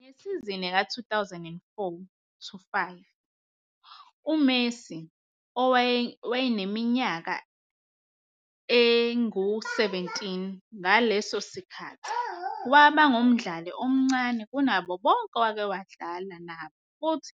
Ngesizini ka-2004-05, uMessi, owayeneminyaka eli-17 ngaleso sikhathi, waba ngumdlali omncane kunabo bonke owake wadlala futhi